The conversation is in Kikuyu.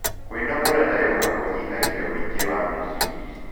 Kwĩnogora na yoga kũnyĩhagĩa ũĩngĩ wa mecirĩa